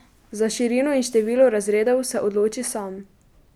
Za širino in število razredov se odloči sam.